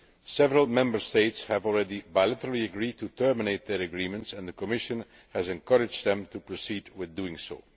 Several Member States have already agreed bilaterally to terminate their agreements, and the Commission has encouraged them to proceed with doing